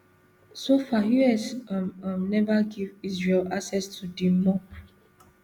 so far us um um neva give israel access to di mop